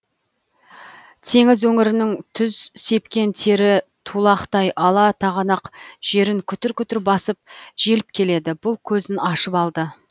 теңіз өңірінің түз сепкен тері тулақтай ала тағанақ жерін күтір күтір басып желіп келеді бұл көзін ашып алды